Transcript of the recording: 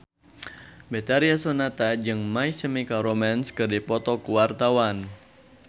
Betharia Sonata jeung My Chemical Romance keur dipoto ku wartawan